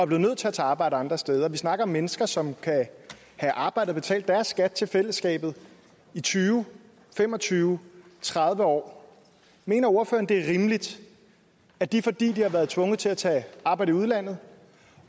blev nødt til at tage arbejde andre steder vi snakker om mennesker som kan have arbejdet og betalt deres skat til fællesskabet i tyve fem og tyve tredive år mener ordføreren det er rimeligt at de fordi de har været tvunget til at tage arbejde i udlandet